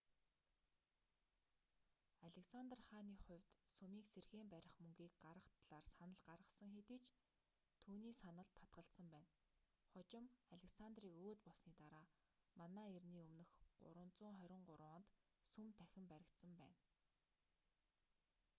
александр хааны хувьд сүмийг сэргээн барих мөнгийг гаргах талаар санал гарсан хэдий ч түүний саналд татгалзсан байна хожим александрийг өөд болсоны дараа мэө 323 онд сүм дахин баригдсан байна